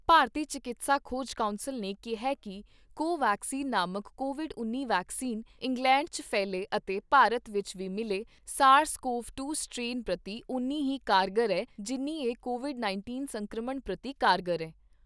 ਭਾਰਤੀ ਚਿਕਿਤਸਾ ਖੋਜ ਕੌਂਸਲ ਨੇ ਕਿਹਾ ਕਿ ਕੋ ਵੈਕਸੀਨ ਨਾਮਕ ਕੋਵਿਡ ਉੱਨੀ ਵੈਕਸੀਨ, ਇੰਗਲੈਂਡ 'ਚ ਫੈਲੇ ਅਤੇ ਭਾਰਤ ਵਿਚ ਵੀ ਮਿਲੇ ਸਾਰਸ ਕੋਵ ਦੋ ਸਟ੍ਰੇਨ ਪ੍ਰਤੀ ਉਨੀ ਹੀ ਕਾਰਗਰ ਐ, ਜਿੰਨ੍ਹੀ ਇਹ ਕੋਵਿਡ ਉੱਨੀ ਸੰਕਰਮਣ ਪ੍ਰਤੀ ਕਾਰਗਰ ਐ।